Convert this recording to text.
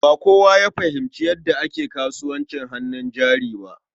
Ba kowa ya fahimci yadda ake kasuwancin hannun jari ba.